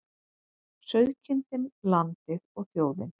Sauðkindin, landið og þjóðin.